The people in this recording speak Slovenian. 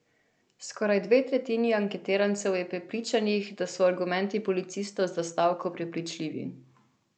Skoraj dve tretjini anketirancev je prepričanih, da so argumenti policistov za stavko prepričljivi.